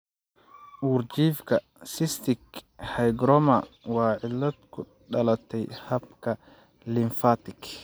Uurjiifka cystic hygroma waa cillad ku dhalatay habka lymfatic.